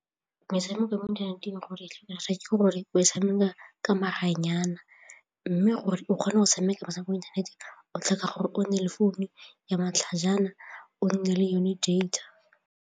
Metshameko ya mo inthaneteng ke gore o tshameka ka maranyane mme gore o kgone go tshameka metshameko mo inthaneteng o tlhoka gore o nne le founu ya matlhajana o nne le yone data.